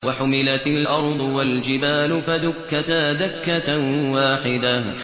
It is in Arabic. وَحُمِلَتِ الْأَرْضُ وَالْجِبَالُ فَدُكَّتَا دَكَّةً وَاحِدَةً